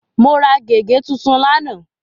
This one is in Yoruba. Mo ra gègé tuntun lánàá.